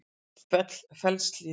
Fellshlíð